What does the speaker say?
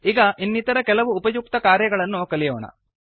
ಈಗ ಇನ್ನಿತರ ಕೆಲ ಉಪಯುಕ್ತ ಕಾರ್ಯಗಳನ್ನು ಕಲಿಯೋಣ